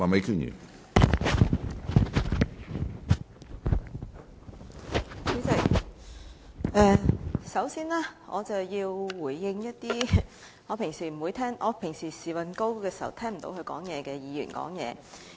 主席，首先，我想回應一些我平時"時運高"時聽不到他們發言的議員的言論。